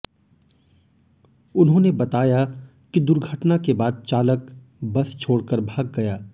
उन्होंने बताया कि दुर्घटना के बाद चालक बस छोड़कर भाग गया